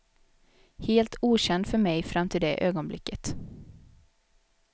Helt okänd för mig fram till det ögonblicket.